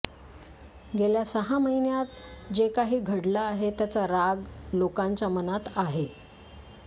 गेल्या सहा महिन्यांत जे काही घडलं आहे त्याचा राग लोकांच्या मनात आहे